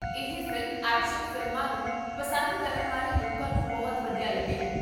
ਇਹ film action ਫ਼ਿਲਮਾਂ ਨੂੰ ਪਸੰਦ ਕਰਨ ਵਾਲੇ ਲੋਕਾਂ ਨੂੰ ਬਹੁਤ ਵਧੀਆ ਲੱਗੇਗੀ